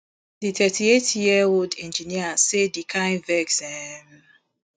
di thirty-eight year old engineer say di kain vex um